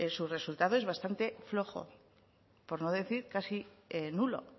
su resultado es bastante flojo por no decir casi nulo